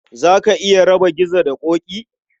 Za ka iya raba Gizo da Ƙoƙi?